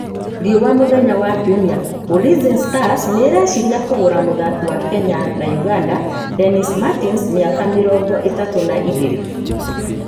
(Riũa mũthenya wa kiumia)Ulinzi Stars nĩ ĩreciria kũgũra mũtharaki wa Kenya na Ũganda, Dennis Martins, miaka mĩrongoithatũ na ĩgĩrĩ.